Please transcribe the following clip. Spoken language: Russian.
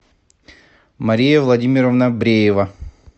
мария владимировна бреева